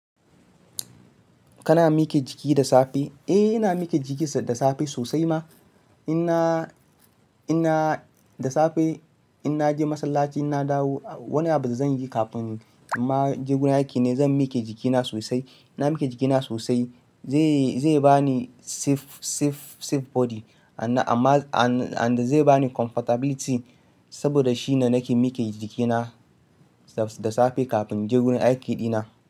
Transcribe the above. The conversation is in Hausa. Kana mike jiki da safe? Eh ina mike jiki da safe sosai ma. Inna, inna da safe in naje masallaci in na dawo, wani abu da zan yi kafin imma je gurin aiki ne zan mike jikina sosai. Ina mike jikina sosai zai, zai bani safe, safe, safe body amma, amma an, an da zai bani comfortability saboda shine nake mike jikina da safe kafin je gun aiki dina.